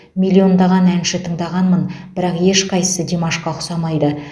миллиондаған әнші тыңдағанмын бірақ ешқайсысы димашқа ұқсамайды